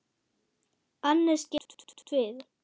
Annes getur átt við